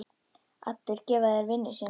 Allir gefa þeir vinnu sína.